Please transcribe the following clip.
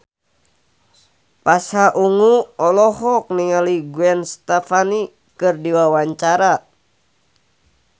Pasha Ungu olohok ningali Gwen Stefani keur diwawancara